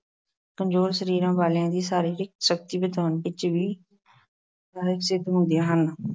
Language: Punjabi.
ਕਮਜ਼ੋਰ ਸਰੀਰਾਂ ਵਾਲਿਆਂ ਦੀ ਸਰੀਰਿਕ ਸ਼ਕਤੀ ਵਧਾਉਣ ਵਿੱਚ ਵੀ ਸਹਾਇਕ ਸਿੱਧ ਹੁੰਦੀਆਂ ਹਨ।